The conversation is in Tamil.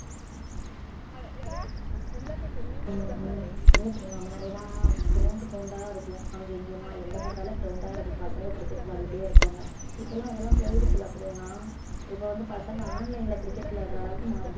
உம் உம் இல்லை பிரியங்கா முன்னாடி எல்லாம் ground ground ஆ இருக்கும் அங்கே இங்கேயுமா எங்க பாத்தாலும் ground ஆ இருக்கும் பசங்க cricket விளையாடிட்டே இருப்பாங்க இப்பல்லாம் அதெல்லாம் போயிடுச்சுல பிரியங்கா இப்ப வந்து பசங்க online ல cricket விளையாடுற அளவுக்கு மாறிடு~